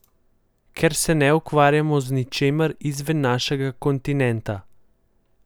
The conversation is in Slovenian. Ker se ne ukvarjamo z ničemer izven našega kontinenta.